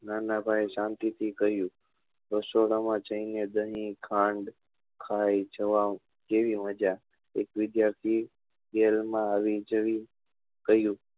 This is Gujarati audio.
નાના ભાઈ શાંતિ થી કહ્યું રસોડા માં જઈ ને બન્ની ખાંડ ખાઈ જવા કેવી મજા એક વિદ્યાર્થી વેલ માં આવી જઈ કહ્યું